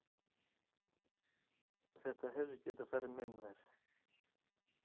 Þetta hefði getað farið mun verr.